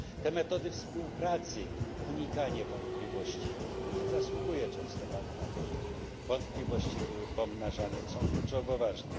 Te metody współpracy, unikanie wątpliwości bo nie zasługuje często bank na to, żeby wątpliwości były pomnażane są kluczowo ważne.